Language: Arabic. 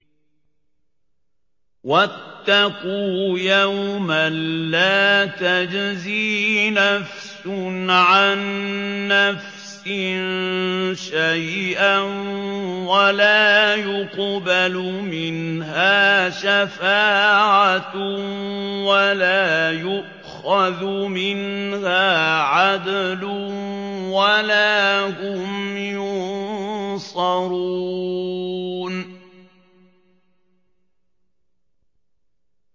وَاتَّقُوا يَوْمًا لَّا تَجْزِي نَفْسٌ عَن نَّفْسٍ شَيْئًا وَلَا يُقْبَلُ مِنْهَا شَفَاعَةٌ وَلَا يُؤْخَذُ مِنْهَا عَدْلٌ وَلَا هُمْ يُنصَرُونَ